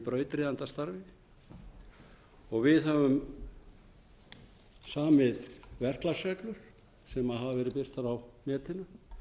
við erum í brautryðjendastarfi við höfum samið verklagsreglur sem hafa verið birtar á netinu